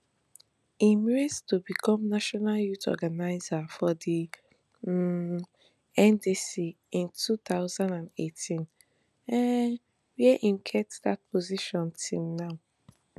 im rise to become national youth organizer of di um ndc in two thousand and eighteen um wia im get dat position till now